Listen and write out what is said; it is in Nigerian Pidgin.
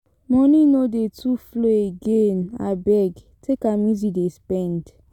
Moni no dey too flow again abeg take am easy dey spend.